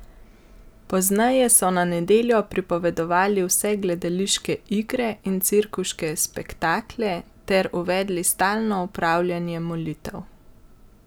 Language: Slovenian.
Pozneje so na nedeljo prepovedali vse gledališke igre in cirkuške spektakle ter uvedli stalno opravljanje molitev.